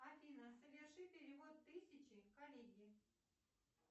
афина соверши перевод тысячи коллеге